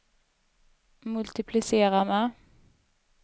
multiplicera med